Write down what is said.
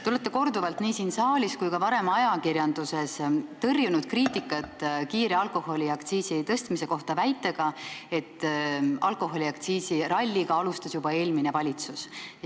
Te olete korduvalt nii siin saalis kui ka varem ajakirjanduses tõrjunud kriitikat alkoholiaktsiisi kiire tõstmise kohta väitega, et alkoholiaktsiisiralliga alustas juba eelmine valitsus.